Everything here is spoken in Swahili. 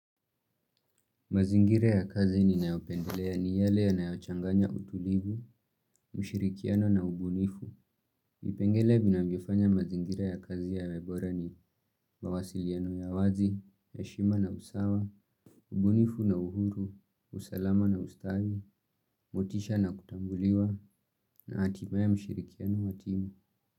Mazingira ya kazi ninayopendelea ni yale yanayochanganya utulivu, mshirikiano na ubunifu. Vipengele vinavyofanya mazingire ya kazi yawe bora ni, mawasiliano ya wazi, heshima na usawa, ubunifu na uhuru, usalama na ustawi, motisha na kutambuliwa, na hatimaye mshirikiano wa timu.